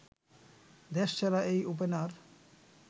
দেশসেরা এই ওপেনার